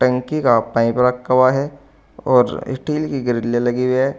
टंकी का पाइप रखा हुआ है और स्टील की ग्रिले लगी हुई है।